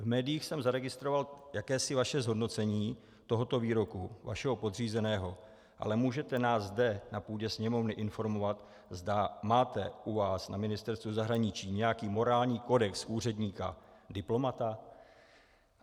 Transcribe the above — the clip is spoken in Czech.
V médiích jsem zaregistroval jakési vaše zhodnocení tohoto výroku vašeho podřízeného, ale můžete nás zde, na půdě Sněmovny, informovat, zda máte u vás na Ministerstvu zahraničí nějaký morální kodex úředníka diplomata?